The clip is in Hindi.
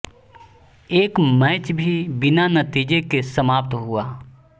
एक मैच भी बिना नतीजे के समाप्त हुआ